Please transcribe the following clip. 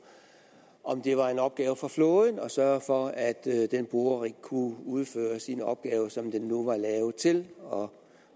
om det var en opgave for flåden at sørge for at den borerig kunne udføre sine opgaver som den nu var lavet til og